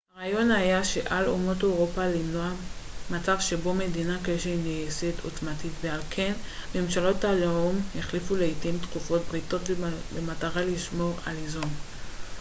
הרעיון היה שעל אומות אירופה למנוע מצב שבו מדינה כלשהי נעשית עוצמתית ועל כן ממשלות הלאום החליפו לעיתים תכופות בריתות במטרה לשמור על איזון